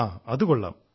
ആഹാ അതുകൊള്ളാം